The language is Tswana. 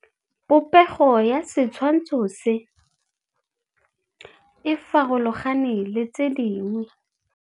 Popêgo ya setshwantshô se, e farologane le tse dingwe.